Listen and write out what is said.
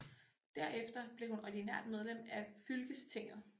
Derefter blev hun ordinært medlem af fylkestinget